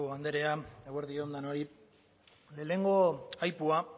andrea eguerdi on denoi lehenengo aipua